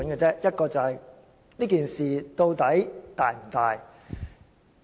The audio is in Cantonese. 第一，究竟事件是否嚴重？